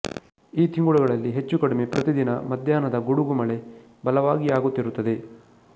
ಈ ತಿಂಗಳುಗಳಲ್ಲಿ ಹೆಚ್ಚು ಕಡಿಮೆ ಪ್ರತಿದಿನ ಮಧ್ಯಾಹ್ನದ ಗುಡುಗು ಮಳೆ ಬಲವಾಗಿ ಆಗುತ್ತಿರುತ್ತದೆ